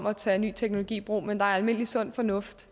at tage ny teknologi i brug men der er almindelig sund fornuft